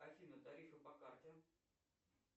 афина тарифы по карте